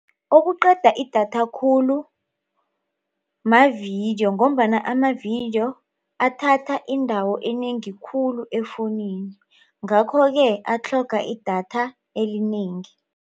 Okuqeda idatha khulu mavidiyo ngombana amavidiyo athatha indawo enengi khulu efowunini ngakho-ke atlhoga idatha elinengi.